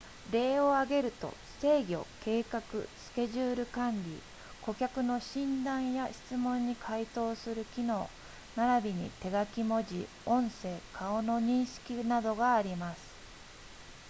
例を挙げると制御計画スケジュール管理顧客の診断や質問に回答する機能ならびに手書き文字音声顔の認識などがあります